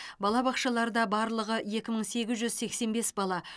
балабақшаларда барлығы екі мың сегіз жүз сексен бес бала